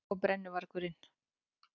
Hann og brennuvargurinn.